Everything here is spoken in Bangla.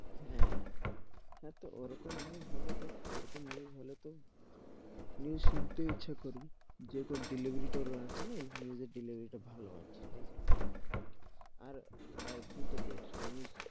হ্যাঁ এত ওরকম news হলে তো, ওরকম news হলে তো news শুনতেই ইচ্ছা করবে। যে রকম delivery ই আছে না news delivery তা ভালো আছে তাই জন্য আর এখন তো দেখছো।